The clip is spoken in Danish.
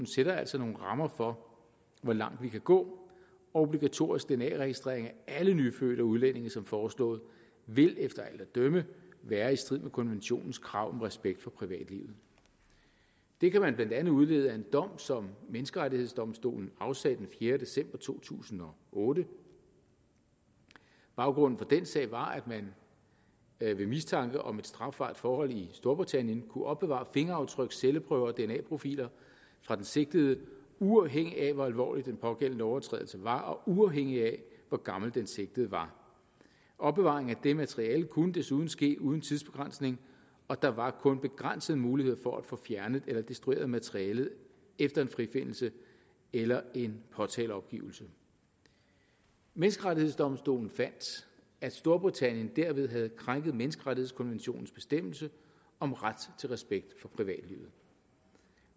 sætter altså nogle rammer for hvor langt vi kan gå og obligatorisk dna registrering af alle nyfødte og udlændinge som foreslået vil efter alt at dømme være i strid med konventionens krav om respekt for privatlivet det kan man blandt andet udlede af en dom som menneskerettighedsdomstolen afsagde den fjerde december to tusind og otte baggrunden for den sag var at man ved mistanke om et strafbart forhold i storbritannien kunne opbevare fingeraftryk celleprøver og dna profiler fra den sigtede uafhængigt af hvor alvorlig den pågældende lovovertrædelse var og uafhængigt af hvor gammel den sigtede var opbevaring af det materiale kunne desuden ske uden tidsbegrænsning og der var kun begrænsede muligheder for at få fjernet eller destrueret materialet efter en frifindelse eller en påtaleopgivelse menneskerettighedsdomstolen fandt at storbritannien derved havde krænket menneskerettighedskonventionens bestemmelse om ret til respekt for privatlivet